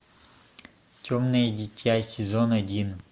темное дитя сезон один